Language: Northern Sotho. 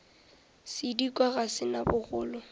sedikwa ga se na bogolo